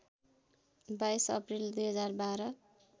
२२ April २०१२